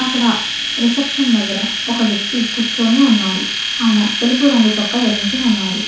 అక్కడ రిసెప్షన్ దగ్గర ఒక వ్యక్తి కూర్చొని ఉన్నారు ఆయన తెలుపు రంగు చొక్కా ధరించి ఉన్నారు.